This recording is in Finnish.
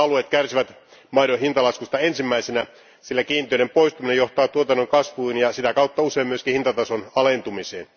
Nämä alueet kärsivät maidon hintalaskusta ensimmäisenä, sillä kiintiöiden poistuminen johtaa tuotannon kasvuun ja sitä kautta usein myös hintatason alentumiseen.